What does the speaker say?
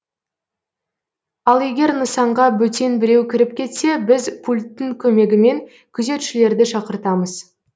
ал егер нысанға бөтен біреу кіріп кетсе біз пульттің көмегімен күзетшілерді шақыртамыз